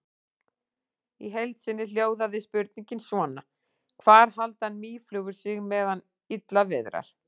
Í heild sinni hljóðaði spurningin svona: Hvar halda mýflugur sig meðan illa viðrar?